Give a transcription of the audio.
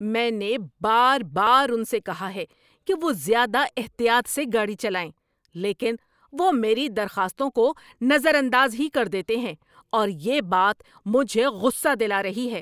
میں نے بار بار ان سے کہا ہے کہ وہ زیادہ احتیاط سے گاڑی چلائیں، لیکن وہ میری درخواستوں کو نظر انداز ہی کر دیتے ہیں، اور یہ بات مجھے غصہ دلا رہی ہے۔